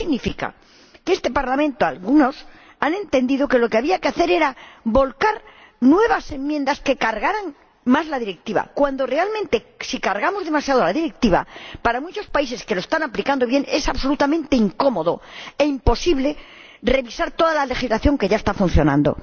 Eso significa que algunos en este Parlamento han entendido que lo que había que hacer era volcar nuevas enmiendas que cargaran más la Directiva, cuando realmente, si cargamos demasiado la Directiva, a muchos países que la están aplicando bien les resultará absolutamente incómodo e imposible revisar toda la legislación que ya está funcionando.